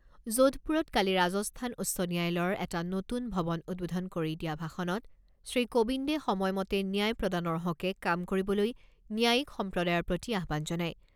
যোধপুৰত কালি ৰাজস্থান উচ্চ ন্যায়ালয়ৰ এটা নতুন ভৱন উদ্বোধন কৰি দিয়া ভাষণত শ্ৰীকোবিন্দে সময়মতে ন্যায় প্ৰদানৰ হকে কাম কৰিবলৈ ন্যায়িক সম্প্ৰদায়ৰ প্ৰতি আহ্বান জনায়।